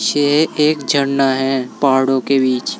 ये एक झरना है पहाड़ों के बीच।